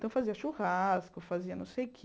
Então, fazia churrasco, fazia não sei o quê.